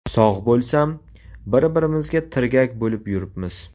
Sog‘ bo‘lsam, bir-birimizga tirgak bo‘lib yuribmiz.